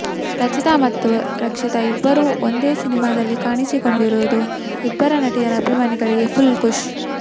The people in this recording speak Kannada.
ರಚಿತಾ ಮತ್ತು ರಕ್ಷಿತಾ ಇಬ್ಬರು ಒಂದೆ ಸಿನಿಮಾದಲ್ಲಿ ಕಾಣಿಸಿಕೊಂಡಿರುವುದು ಇಬ್ಬರ ನಟಿಯರ ಅಭಿಮಾನಿಗಳಿಗೆ ಫುಲ್ ಖುಷ್